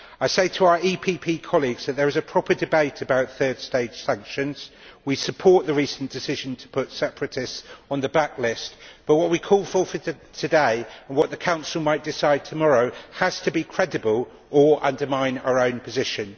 I say to our EPP colleagues that there is a proper debate about third stage sanctions. We support the recent decision to put separatists on the black list, but what we call for today and what the Council might decide tomorrow has to be credible, or we will undermine our own position.